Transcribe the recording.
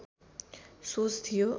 सोच थियो